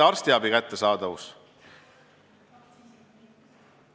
Arstiabi kättesaadavus.